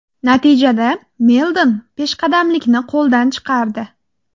Natijada Meldon peshqadamlikni qo‘ldan chiqardi.